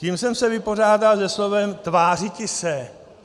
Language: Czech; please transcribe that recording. Tím jsem se vypořádal se slovem "tvářiti se".